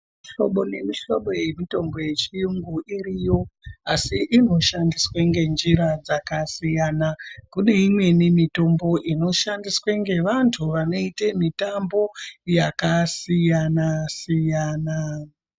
Muhlobo nemihlobo yemitombo yechiyungu iriyo, asi inoshandiswe ngenjira dzakasiyana. Kune imweni mitombo inoshandiswe ngevantu vanoiye mitambo yakasiyana-siyana .